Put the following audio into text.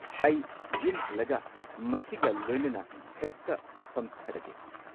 ꯑꯩ ꯌꯨꯝ ꯍꯜꯂꯒ ꯃꯁꯤꯒ ꯂꯣꯏꯅꯅ ꯍꯦꯛꯇ ꯐꯝꯊꯔꯒꯦ꯫